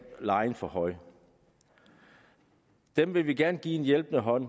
lejen for højt dem vil vi gerne give en hjælpende hånd